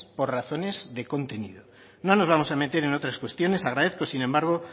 por razones de contenido no nos vamos a meter en otras cuestiones agradezco sin embargo